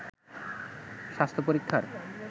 স্বাস্থ্য পরীক্ষার